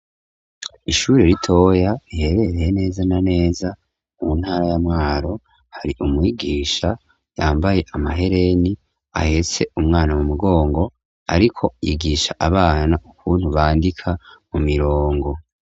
Ishuri ritoya riherereye neza na neza mu ntara ya Mwaro hari umwigisha yambaye amahereni ahetse umwana mu mugongo ariko yigisha abana ukuntu bandika mu mirongo.